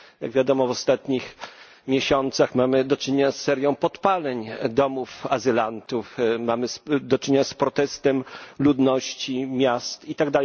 Jak wiadomo w ostatnich miesiącach mamy do czynienia z serią podpaleń domów azylantów, mamy do czynienia z protestem ludności miast itd.